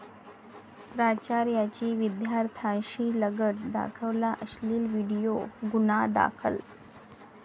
प्राचार्याची विद्यार्थ्याशी लगट, दाखवला अश्लील व्हिडीओ, गुन्हा दाखल